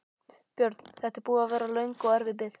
Björn: Þetta er búin að vera löng og erfið bið?